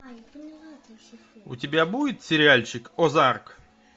у тебя будет сериальчик озарк